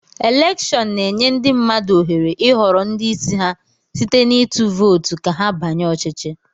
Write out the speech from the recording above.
Elèkshón na-enye ndị mmadụ ohere ịhọrọ ndị isi ha site na ịtụ vootu ka ha banye ọchịchị